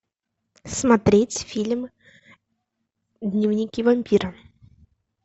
смотреть фильм дневники вампира